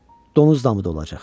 Donuz damı da olacaq.